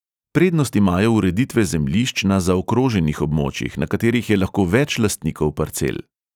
Prednost imajo ureditve zemljišč na zaokroženih območjih, na katerih je lahko več lastnikov parcel.